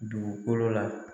Dugukolo la